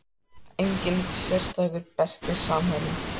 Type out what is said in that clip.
Enginn sérstakur Besti samherjinn?